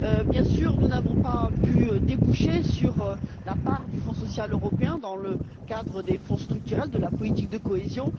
Bien sûr, nous n'avons pas pu aboutir sur la part du Fonds social européen dans le cadre des fonds structurels de la politique de cohésion.